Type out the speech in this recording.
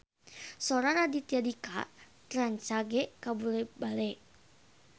Sora Raditya Dika rancage kabula-bale